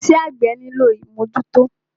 Iṣẹ́ àgbẹ́ nílò ìmọ́jútọ́.